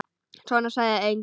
Svona sagði enginn.